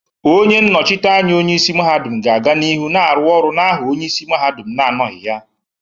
Onye nnochite anya onye isi mahadum ga-aga n'ihu na-aru oru n'aha onye isi mahadum na-anọghị ha.